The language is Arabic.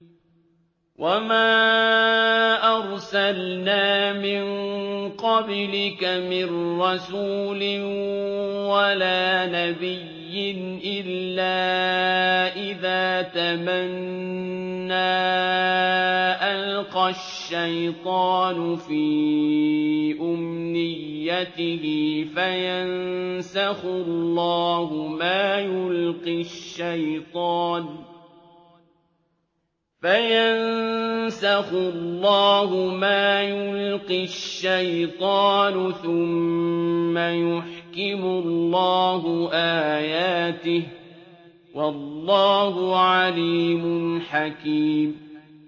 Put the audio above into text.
وَمَا أَرْسَلْنَا مِن قَبْلِكَ مِن رَّسُولٍ وَلَا نَبِيٍّ إِلَّا إِذَا تَمَنَّىٰ أَلْقَى الشَّيْطَانُ فِي أُمْنِيَّتِهِ فَيَنسَخُ اللَّهُ مَا يُلْقِي الشَّيْطَانُ ثُمَّ يُحْكِمُ اللَّهُ آيَاتِهِ ۗ وَاللَّهُ عَلِيمٌ حَكِيمٌ